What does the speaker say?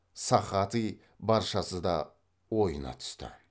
сохатый баршасы да ойына түсті